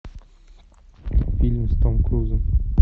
фильм с том крузом